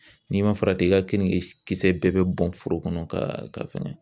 N'i ma farati i ka keninke kisɛ bɛɛ bɛ bɔn foro kɔnɔ ka fɛngɛ